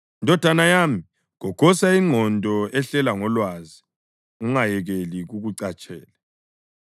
Ndodana yami, gogosa ingqondo ehlela ngolwazi, ungayekeli kukucatshele;